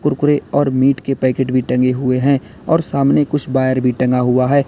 कुरकुरे और मीट के पैकेट भी टंगे हुए हैं और सामने कुछ वायर भी टंगा हुआ है।